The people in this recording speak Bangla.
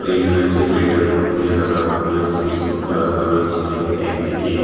বেড রয়েছে। বেড এর মধ্যে নানা রকমের জিনিসপত্র রাখা রয়েছে এবং একদিকে --